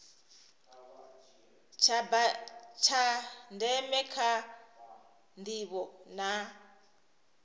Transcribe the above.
tsha ndeme kha ndivho na